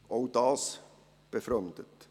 Auch das befremdet.